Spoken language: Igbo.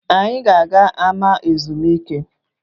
Anyị ga-aga ama ezumike